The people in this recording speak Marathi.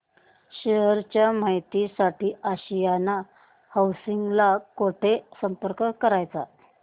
शेअर च्या माहिती साठी आशियाना हाऊसिंग ला कुठे संपर्क करायचा